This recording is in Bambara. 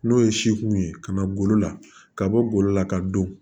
N'o ye seku ye ka na golo la ka bɔ golo la ka don